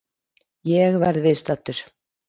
Ég verð viðstaddur!